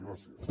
gràcies